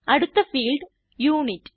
അടുത്ത field unit